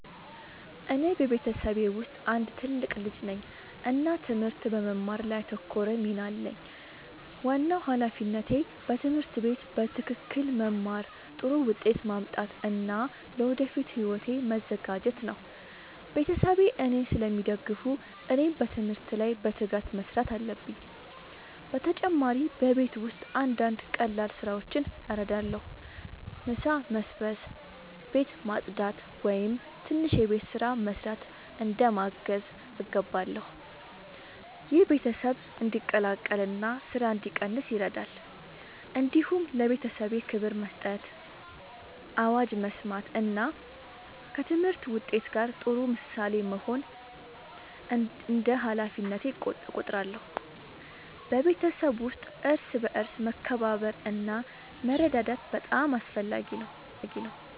እኔ በቤተሰቤ ውስጥ አንድ ትልቅ ልጅ ነኝ እና ትምህርት በመማር ላይ ያተኮረ ሚና አለኝ። ዋናው ሃላፊነቴ በትምህርት ቤት በትክክል መማር፣ ጥሩ ውጤት ማምጣት እና ለወደፊት ሕይወቴ መዘጋጀት ነው። ቤተሰቤ እኔን ስለሚደግፉ እኔም በትምህርት ላይ በትጋት መስራት አለብኝ። በተጨማሪ በቤት ውስጥ አንዳንድ ቀላል ስራዎችን እረዳለሁ። ምሳ መስበስ፣ ቤት ማጽዳት ወይም ትንሽ የቤት ስራ መስራት እንደ ማገዝ እገባለሁ። ይህ ቤተሰብ እንዲቀላቀል እና ስራ እንዲቀንስ ይረዳል። እንዲሁም ለቤተሰቤ ክብር መስጠት፣ አዋጅ መስማት እና ከትምህርት ውጤት ጋር ጥሩ ምሳሌ መሆን እንደ ሃላፊነቴ እቆጥራለሁ። በቤተሰብ ውስጥ እርስ በርስ መከባበር እና መረዳዳት በጣም አስፈላጊ ነው።